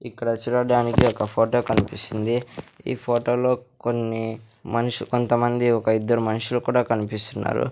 ఇక్కడ చూడడానికి ఒక ఫోటో కనిపిస్తుంది ఈ ఫోటో లో కొన్ని మనిషి కొంతమంది ఒక ఇద్దరు మనుషులు కూడా కనిపిస్తున్నారు.